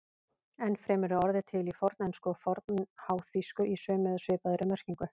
Enn fremur er orðið til í fornensku og fornháþýsku í sömu eða svipaðri merkingu.